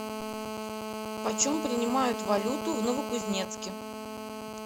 почем принимают валюту в новокузнецке